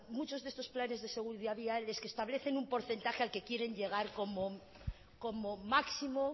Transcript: muchos de estos planes de seguridad vial es que establecen un porcentaje al que quieren llegar como máximo